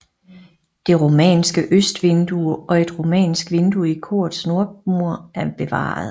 Det romanske østvindue og et romansk vindue i korets nordmur er bevaret